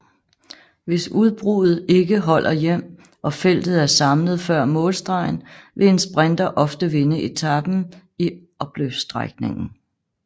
Hvis udbruddet ikke holder hjem og feltet er samlet før målstregen vil en sprinter ofte vinde etapen i opløbsstrækningen